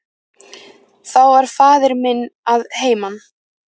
Þá var faðir minn að heiman.